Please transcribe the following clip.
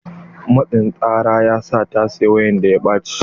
Matsin tsara ya sa ta saya wayan da ya ɓacce.